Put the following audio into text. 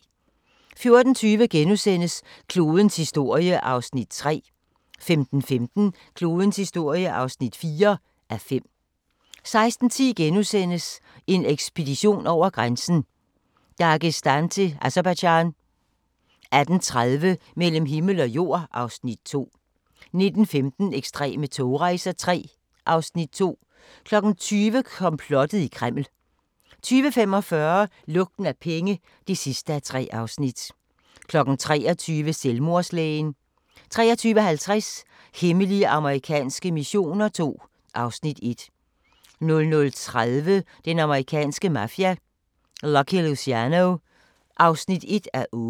14:20: Klodens historie (3:5)* 15:15: Klodens historie (4:5) 16:10: En ekspedition over grænsen: Dagestan til Aserbajdsjan * 18:30: Mellem himmel og jord (Afs. 2) 19:15: Ekstreme togrejser III (Afs. 2) 20:00: Komplottet i Kreml 20:45: Lugten af penge (3:3) 23:00: Selvmordslægen 23:50: Hemmelige amerikanske missioner II (Afs. 1) 00:30: Den amerikanske mafia: Lucky Luciano (1:8)